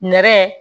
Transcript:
Nɛrɛ